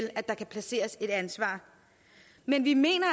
at der kan placeres et ansvar men vi mener